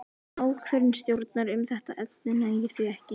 Ákvörðun stjórnar um þetta efni nægir því ekki.